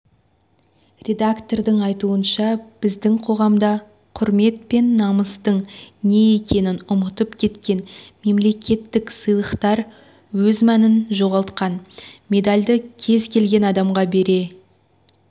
редактордың айтуынша біздің қоғамда құрмет пен намыстың не екенін ұмытып кеткен мемлекеттік сыйлықтар өз мәнін жоғалтқан медальды кез келген адамға бере